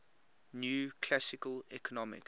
new classical economics